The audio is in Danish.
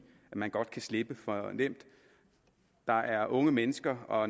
at man godt kan slippe for nemt der er unge mennesker og